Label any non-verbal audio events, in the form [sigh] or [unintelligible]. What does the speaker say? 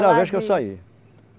vez que eu saí. [unintelligible]